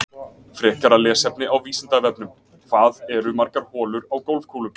Frekara lesefni á Vísindavefnum: Hvað eru margar holur á golfkúlum?